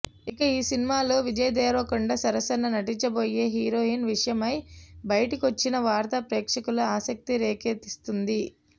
ఇక ఈ సినిమాలో విజయ్ దేవరకొండ సరసన నటించబోయే హీరోయిన్ విషయమై బయటకొచ్చిన వార్త ప్రేక్షకుల్లో ఆసక్తి రేకెత్తిస్తోంది